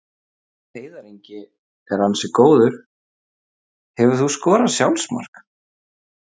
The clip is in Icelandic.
Heiðar Ingi er ansi góður Hefurðu skorað sjálfsmark?